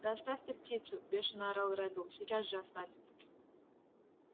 да оставь ты птицу бешено орал реддл сейчас же оставь